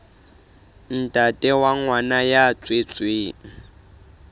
ntate wa ngwana ya tswetsweng